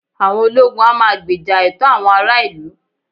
àwọn ologun a ma gbèjà ẹtọ awọn ará ilu